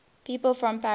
people from paris